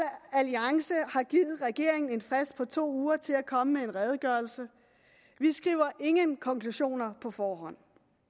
alliance har givet regeringen en frist på to uger til at komme med en redegørelse vi skriver ingen konklusioner på forhånd